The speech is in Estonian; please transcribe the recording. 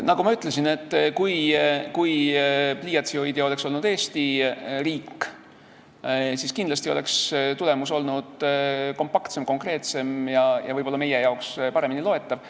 Nagu ma ütlesin, kui pliiatsit oleks hoidnud Eesti riik, siis oleks tulemus olnud kindlasti kompaktsem, konkreetsem ja võib-olla meile paremini loetav.